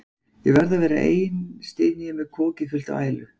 Ég verð að vera ein, styn ég með kokið fullt af ælu.